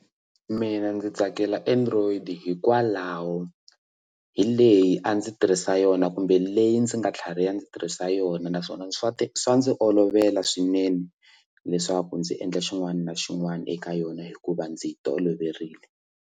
Mina ndzi tsakela android hikwalaho hi leyi a ndzi tirhisa yona kumbe leyi ndzi nga tlhariha ndzi tirhisa yona naswona swa swa ndzi olovela swinene leswaku ndzi endla xin'wana na xin'wana eka yona hikuva ndzi yi toloverile.